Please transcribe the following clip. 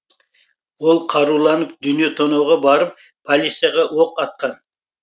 ол қаруланып дүние тонауға барып полицияға оқ атқан